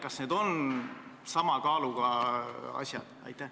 Kas need on sama kaaluga asjad?